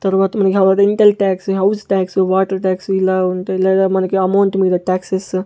తర్వాత ఇంటెల్ tax house tax water tax ఇలా ఉంటాయి లేదా మనకి అమౌంట్ మీద టాక్స్ ఏస్త--